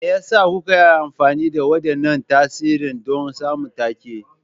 Me yasa kuka yi amfani da waɗannan tsarin don samun take?